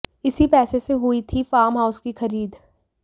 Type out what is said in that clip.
इसी पैसे से हुई थी फार्म हाउस की खरीद